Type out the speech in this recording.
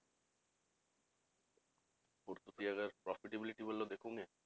ਔਰ ਤੁਸੀਂ ਅਗਰ profitability ਵਲੋਂ ਦੇਖੋਗੇ